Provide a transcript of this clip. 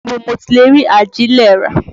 Ibo ni mo ti lè rí àjílè rà?